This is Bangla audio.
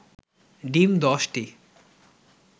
ডিম ১০টি